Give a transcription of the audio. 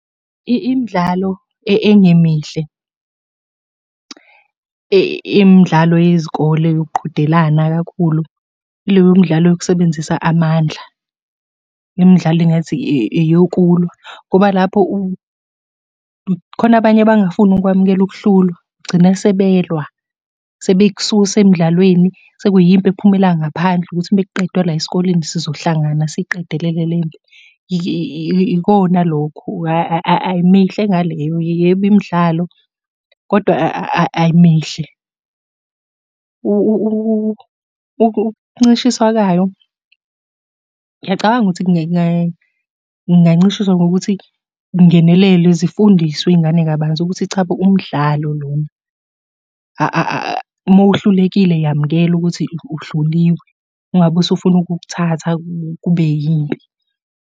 Imidlalo engemihle, imidlalo yezikole yokuqhudelana kakhulu, ileyo midlalo yokusebenzisa amandla. Imidlalo engathi eyokulwa, ngoba lapho khona abanye abangafuni ukwamukela ukuhlulwa, gcine sebelwa sebekususa emdlalweni, sekuyimpi ephumela ngaphandle ukuthi uma kuqedwe la esikoleni sizohlangana siqedelele lempi. Ikona lokho ayimihle ngaleyo, yebo imidlalo, kodwa ayimihle. Ukuncishiswa kwayo, ngiyacabanga ukuthi kungancishiswa ngokuthi kungenelelwe zifundiswe iy'ngane kabanzi ukuthi chabo, umdlalo lona. Uma uhlulekile yamukela ukuthi uhluliwe, ungabe usufuna ukukuthatha kube yimpi.